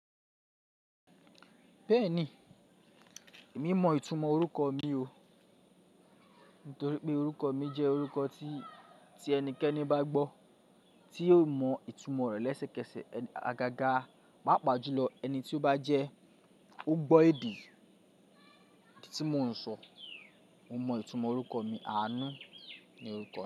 Bẹ́ẹ̀ni, èmi mọ ìtumọ̀ orúkọ mi o. Nítorí pé orúkọ mi jẹ́ orúkọ tí, tí ẹnikẹ́ni bá gbọ́, tí yóò mọ ìtumọ̀ rẹ̀ lẹ́sẹ̀kẹsẹ̀. Agaga, papa’ájú lọ, ẹni tí ó bá jẹ́ ó gbọ́ èdè tí mo ń sọ, ó mọ ìtumọ̀ orúkọ mi. Àánú ni orúkọ mi.